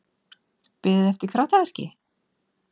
Beðið eftir kraftaverki?